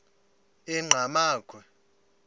enqgamakhwe